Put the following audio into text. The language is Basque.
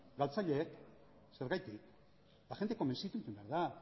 galtzaileek zergatik jendea konbentzitu behar da